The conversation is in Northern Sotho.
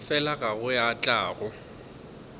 fela go ya le tlhago